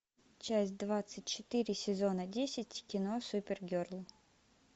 часть двадцать четыре сезона десять кино супергерл